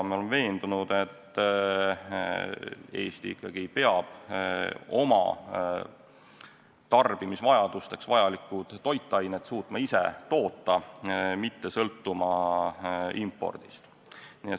Me oleme veendunud, et Eesti ikkagi peab oma tarbimisvajadusteks vajalikud toitained suutma ise toota, mitte sõltuma impordist.